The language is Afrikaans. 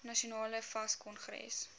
nasionale fas kongres